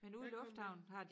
Der kan man